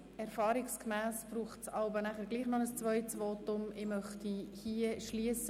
Erfahrungsgemäss folgt hier jeweils noch ein zweites Votum seitens des Motionärs.